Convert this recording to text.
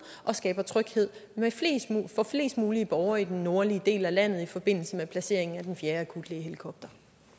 og skaber tryghed for flest mulige borgere i den nordlige del af landet i forbindelse med placeringen af den fjerde akutlægehelikopter